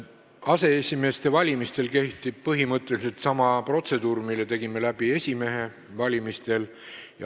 Aseesimeeste valimisel kehtib põhimõtteliselt sama protseduur, mille tegime läbi esimehe valimisel.